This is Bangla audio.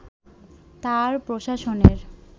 তাঁর প্রশাসনের